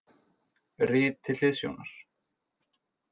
Rit til hliðsjónar: